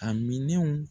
A minɛnw